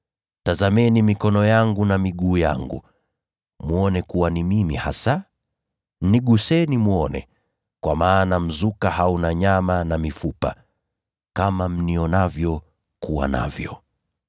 Tazameni mikono yangu na miguu yangu, mwone kuwa ni mimi hasa. Niguseni mwone; kwa maana mzuka hauna nyama na mifupa, kama mnionavyo kuwa navyo.”